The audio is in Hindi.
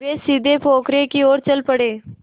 वे सीधे पोखर की ओर चल पड़े